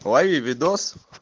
лови видос